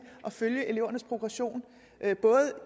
at følge elevernes progression både